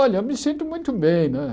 Olha, eu me sinto muito bem, né?